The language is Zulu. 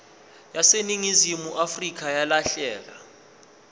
yaseningizimu afrika yalahleka